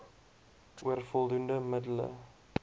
oor voldoende middele